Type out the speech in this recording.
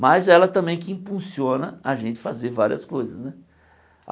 Mas é ela também que impulsiona a gente a fazer várias coisas né.